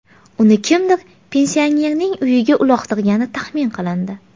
Uni kimdir pensionerning uyiga uloqtirgani taxmin qilindi.